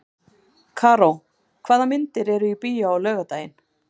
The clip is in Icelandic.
Karó, hvaða myndir eru í bíó á laugardaginn?